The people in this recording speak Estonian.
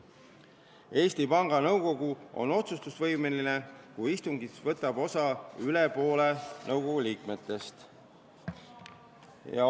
Eesti Panga Nõukogu on otsustusvõimeline siis, kui istungist võtab osa üle poole nõukogu liikmetest.